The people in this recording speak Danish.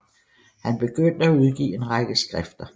Han begyndte at udgive en række skrifter